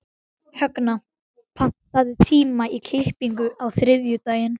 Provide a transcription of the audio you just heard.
Högna, pantaðu tíma í klippingu á þriðjudaginn.